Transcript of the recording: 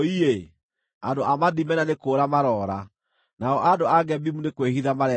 Andũ a Madimena nĩ kũũra maroora; nao andũ a Gebimu nĩ kwĩhitha marehitha.